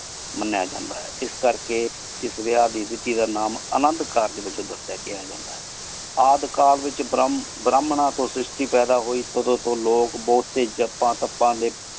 ਮਾਨ੍ਯ ਜਾਂਦਾ ਹੈ ਇਸ ਕਰ ਕੀ ਇਸ ਵਿਯਾਹ ਦੇ ਵਿਡੀ ਦਾ ਨਾਮ ਅਨੰਦੁ ਅਦ੍ਕਲ ਵਿਚ ਬਰ੍ਹ੍ਮਾਂ ਤੂ ਸ਼ਿਰ੍ਸ਼ਤੀ ਪੇਦਾ ਹੋਏ ਉਦੁ ਤੋ ਲੋਕ ਜਪ ਤੋਂ ਦੇ।